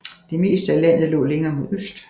Det meste af landet lå længere mod øst